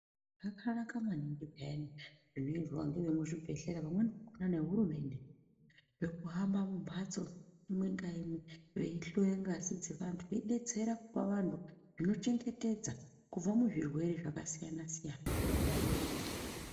Zvakanaka maningi peyani zvinoizwa ngevemuzvibhedhlera pamweni nehurumende zvekuhamba mumhatso imwe ngaimwe veihloye ngazi dzevantu veidetsera kupa vantu zvinochengetedza kubva muzvirwere zvakasiyana siyana